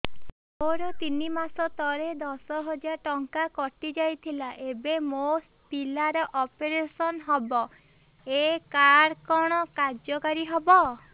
ମୋର ତିନି ମାସ ତଳେ ଦଶ ହଜାର ଟଙ୍କା କଟି ଯାଇଥିଲା ଏବେ ମୋ ପିଲା ର ଅପେରସନ ହବ ଏ କାର୍ଡ କଣ କାର୍ଯ୍ୟ କାରି ହବ